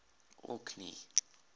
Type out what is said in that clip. orkney